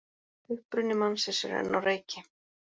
Uppruni mannsins er enn á reiki